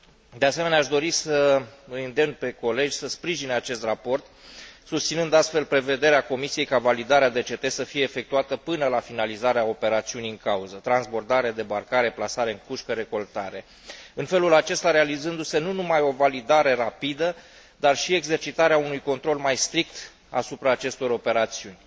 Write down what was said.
De asemenea, aș dori să îi îndemn pe colegi să sprijine acest raport, susținând astfel prevederea Comisiei ca validarea DCT să fie efectuată până la finalizarea operațiunii în cauză transbordare, debarcare, plasare în cușcă, recoltare în felul acesta realizându se nu numai o validare rapidă, dar și exercitarea unui control mai strict asupra acestor operațiuni.